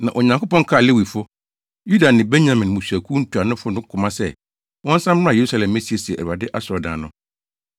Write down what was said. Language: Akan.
Na Onyankopɔn kaa Lewifo, Yuda ne Benyamin mmusuakuw ntuanofo no koma sɛ, wɔnsan mmra Yerusalem mmesiesie Awurade asɔredan no.